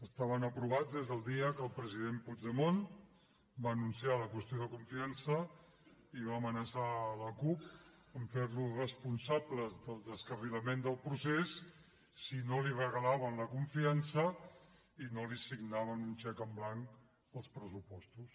estaven aprovats des del dia que el president puigdemont va anunciar la qüestió de confiança i va amenaçar la cup de fer los responsables del descarrilament del procés si no li regalaven la confiança i no li signaven un xec en blanc als pressupostos